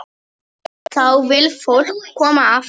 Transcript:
Þá vill fólk koma aftur.